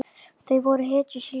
Þau voru hetjur síns tíma.